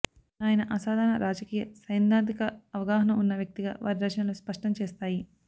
ఆయన అసాధారణ రాజకీయ సైద్ధాంతిక అవగాహన ఉన్న వ్యక్తిగా వారి రచనలు స్పష్టం చేస్తాయి